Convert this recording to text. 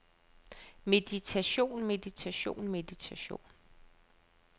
meditation meditation meditation